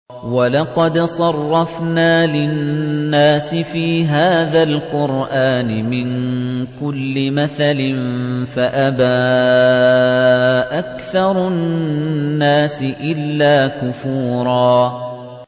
وَلَقَدْ صَرَّفْنَا لِلنَّاسِ فِي هَٰذَا الْقُرْآنِ مِن كُلِّ مَثَلٍ فَأَبَىٰ أَكْثَرُ النَّاسِ إِلَّا كُفُورًا